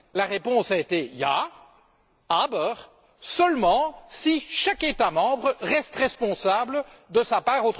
La réponse a été Ja, aber seulement si chaque État membre reste responsable de sa part.